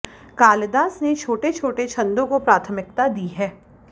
कालिदास ने छोटे छोटे छन्दों को प्राथमिकता दी है